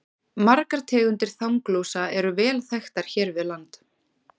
Margar tegundir þanglúsa eru vel þekktar hér við land.